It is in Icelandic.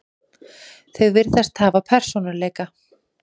Þau virðast hafa persónuleika.